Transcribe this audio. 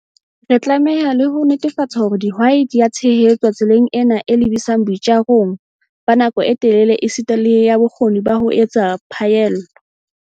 Re tlameha le ho netefatsa hore dihwai di a tshehetswa tseleng ena e lebisang boitjarong ba nako e telele esita le ya bokgoni ba ho etsa phaello.